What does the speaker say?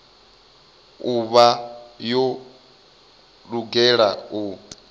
u vha yo lugela u